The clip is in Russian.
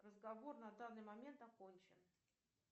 разговор на данный момент окончен